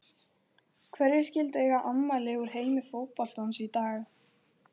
Hverjir skyldu eiga afmæli úr heimi fótboltans í dag?